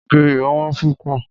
Ògìrì ò wón púpọ̀.